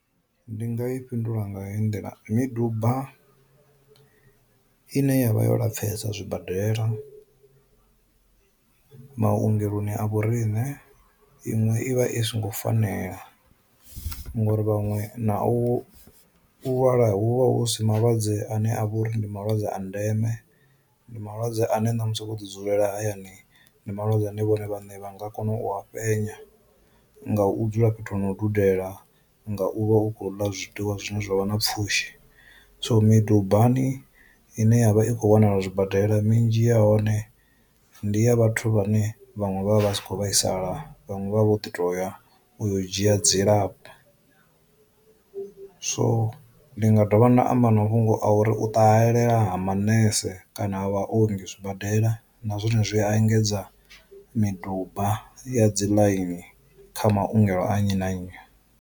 Ndi nga i fhindula nga hei nḓila, miduba ine yavha yo lapfesa zwibadela, maungeloni a vhoriṋe iṅwe i vha i songo fanela ngori vhaṅwe na u u vhala hu vha hu si malwadze ane a vha uri ndi malwadze a ndeme ndi malwadze ane na musi vho ḓi dzulela hayani ndi malwadze ane vhone vhane vha nga kona u ha fhenya nga u dzula fhethu ho no dudela, nga u vha u khou ḽa zwiḽiwa zwine zwavha na pfhushi, so midubani ine yavha i kho wanala zwibadela minzhi ya hone ndi ya vhathu vhane vhaṅwe vha vha vha si kho vhaisala vhanwe vha vho ḓi to ya u yo u dzhia dzilafho. So ndi nga dovha nda amba na mafhungo a uri u ṱahelela ha manese kana vha ongi zwibadela na zwone zwi a engedza miduba ya dzi ḽaini kha maungelo a nnyi na nnyi.